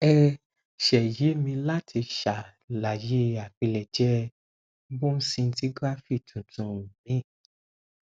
ẹ ṣe yè mì láti ṣàlàyé àpilẹjẹ bone scintigraphy tuntun mi